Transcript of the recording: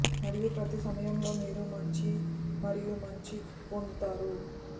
మరియు ప్రతి సమయం ఈ మీరు మంచి మరియు మంచి పొందుతారు